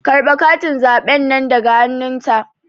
Karɓe katin zaɓen nan daga hannun ta